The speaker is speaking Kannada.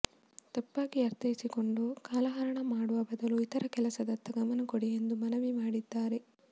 ತಪ್ಪಾಗಿ ಅರ್ಥೈಸಿಕೊಂಡು ಕಾಲಹರಣ ಮಾಡುವ ಬದಲು ಇತರ ಕೆಲಸದತ್ತ ಗಮನ ಕೊಡಿ ಎಂದು ಮನವಿ ಮಾಡಿದ್ದಾರೆ